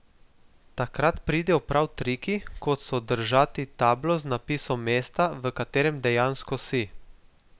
Takrat pridejo prav triki, kot so držati tablo z napisom mesta, v katerem dejansko si.